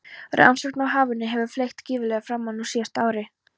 Rannsóknum á hafinu hefur fleygt gífurlega fram nú síðustu árin.